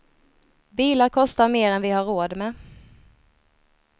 Bilar kostar mer än vi har råd med.